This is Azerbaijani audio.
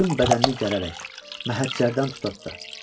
Bütün bədənini gərərək, məhəccərdən tuta-tuta.